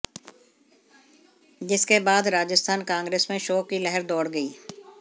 जिसके बाद राजस्थान कांग्रेस मे शोक की लहर दोड़ गई